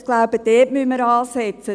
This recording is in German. Ich denke, wir sollten dort ansetzen.